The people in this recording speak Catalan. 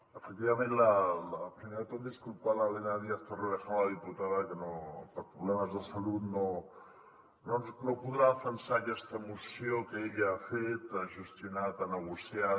efectivament primer de tot disculpar l’elena díaz torrevejano la diputada que per problemes de salut no podrà defensar aquesta moció que ella ha fet ha gestionat ha negociat